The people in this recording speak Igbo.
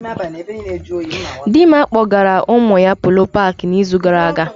Dịmma kpọgara ụmụ ya Polo paakị na izu gara aga